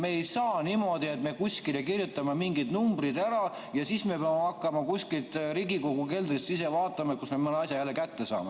Me ei saa niimoodi, et kirjutame kuskile mingid numbrid ja siis peame hakkama kuskilt Riigikogu keldrist ise vaatama, kust me mõne asja jälle kätte saame.